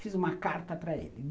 Fiz uma carta para ele.